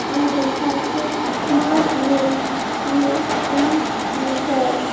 এই লেখা আছে smart look look is better.